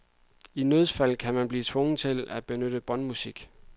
I nødsfald kan man blive tvunget til at benytte båndmusik.